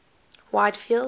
whitfield